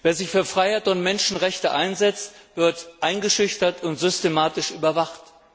Wer sich für Freiheit und Menschenrechte einsetzt, wird eingeschüchtert und systematisch überwacht.